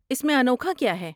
اس میں انوکھا کیا ہے؟